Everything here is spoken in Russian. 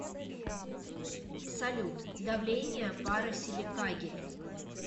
салют давление пара силикагель